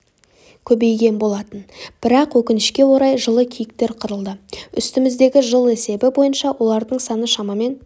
көбейген болатын бірақ өкінішке орай жылы киіктер қырылды үстіміздегі жыл есебі бойынша олардың саны шамамен